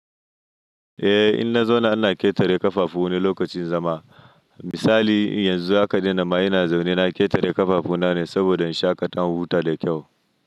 Eh, in na zauna ana ƙetare ƙafafu wani lokacin zama. Misali yanzu haka dina ma ina zaune na ƙetare ƙafafu na ne saboda in sha kaɗa in huta da kyau.